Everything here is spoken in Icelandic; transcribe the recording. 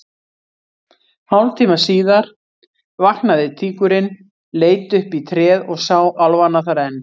Hálftíma síðar vaknaði tígurinn, leit upp í tréð og sá álfana þar enn.